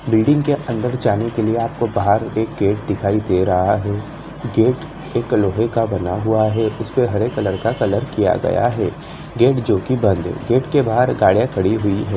Building के अंदर जाने के लिए आपको बाहर एक गेट दिखाई दे रहा है गेट एक लोहे का बना हुआ है इस पर हरे कलर का कलर किया गया है गेट जो कि बंद है गेट के बाहर गाड़ियां खड़ी हुई है।